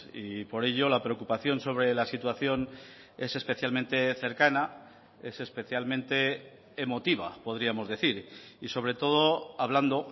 y por ello la preocupación sobre la situación es especialmente cercana es especialmente emotiva podríamos decir y sobre todo hablando